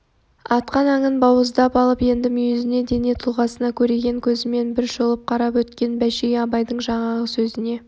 атқан аңын бауыздап алып енді мүйізіне дене тұлғасына көреген көзімен бір шолып қарап өткен бәшей абайдың жаңағы сөзіне